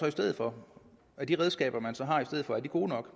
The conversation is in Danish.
i stedet for er de redskaber man så har i stedet for gode nok